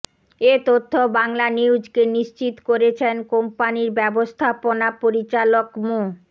এ তথ্য বাংলানিউজকে নিশ্চিত করেছেন কোম্পানির ব্যবস্থাপনা পরিচালক মো